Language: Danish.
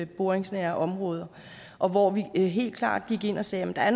boringsnære områder og hvor vi helt klart gik ind og sagde at der